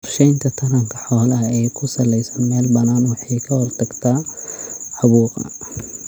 Qorshaynta taranka xoolaha ee ku salaysan meel bannaan waxay ka hortagtaa caabuqa.